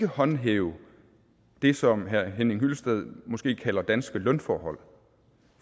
håndhæve det som herre henning hyllested måske kalder danske lønforhold